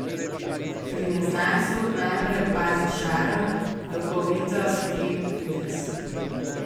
Pri neznancu najprej opazi šarm, duhovitost in videz.